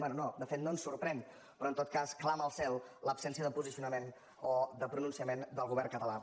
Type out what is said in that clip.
bé no de fet no ens sorprèn però en tot cas clama al cel l’absència de posicionament o de pronunciament del govern català